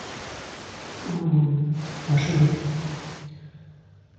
машину